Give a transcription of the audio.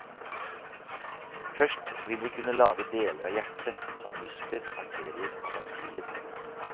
Først vil vi kunne lage deler av hjertet, som muskler, arterier og ventiler.